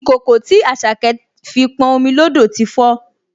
Ìkòkò tí Àṣàkẹ́ fi pọn omi lódò ti fó